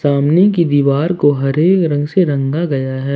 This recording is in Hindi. सामने की दीवार को हरे रंग से रंग गया है।